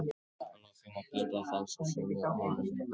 Að lokum má geta þess að sumum konum vex skegg.